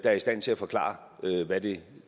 er i stand til at forklare hvad det